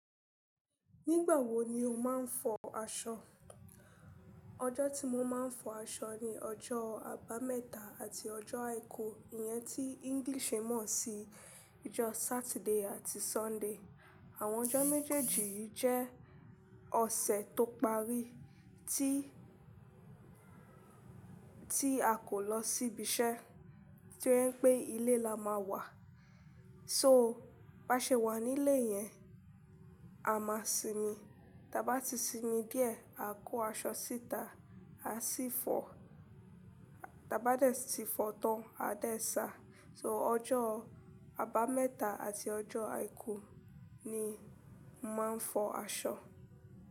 Nígbà wo ni o máa ń fọ aṣọ? Ọjọ́ tí mo máa ń fọ aṣọ ni ọjọ́ àbámẹ́ta àti ọjọ́ àìkú, ìyẹn tí oyinbo ń mọ̀ sí ọjọ́ Saturday àti Sunday. Àwọn ọjọ́ méjèèjì yìí jẹ́ ọ̀sẹ̀ tó parí tí, tí a kò lọ sí ibi iṣẹ́, tí wọ́n ń pé ilé la máa wà. So bá ṣe wà nílé yẹn, a máa sinmi. Ta bá ti sinmi díẹ̀, a kó aṣọ síta, a sì fọ. Da bá dẹ̀, ti fọ tán, a dá ẹ sá. So ọjọ́ àbámẹ́ta àti ọjọ́ àìkú ni mo máa ń fọ aṣọ.